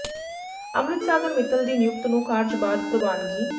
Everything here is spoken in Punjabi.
ਅੰਮ੍ਰਿਤ ਸਾਗਰ ਮਿੱਤਲ ਦੀ ਨਿਯੁਕਤ ਨੂੰ ਕਾਰਜ ਬਾਅਦ ਪ੍ਰਵਾਨਗੀ